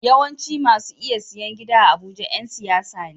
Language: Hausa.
Yawancin masu iya siyan gida a abuja Yan siyasa ne